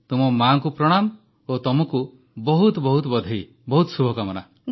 ଆପଣଙ୍କ ମାଆଙ୍କୁ ପ୍ରଣାମ ଓ ଆପଣଙ୍କୁ ବହୁତ ବହୁତ ବଧେଇ ବହୁତ ବହୁତ ଶୁଭକାମନା